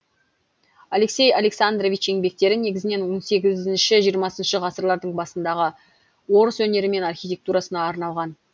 алексей александрович еңбектері негізінен он сегізінші жиырмасыншы ғасырлардың басындағы орыс өнері мен архитектурасына арналған